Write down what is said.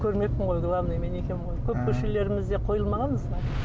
көрмеппін ғой главный мен екенмін ғой көп көшелерімізде қойылмаған знак